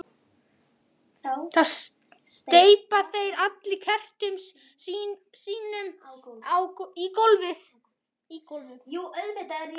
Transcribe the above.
Þá steypa þeir allir kertum sínum í gólfið.